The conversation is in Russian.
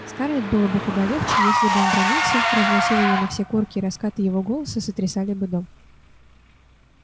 скарлетт было бы куда легче если бы он бранился разносил её на все корки и раскаты его голоса сотрясали бы дом